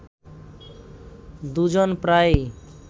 দুজন প্রায়ই